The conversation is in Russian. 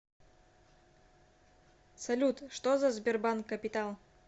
салют что за сбербанк капитал